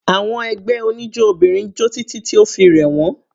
Àwọn ẹgbẹ́ oníjó obìnrin jó títí tí o fi rẹ̀ wọ́n.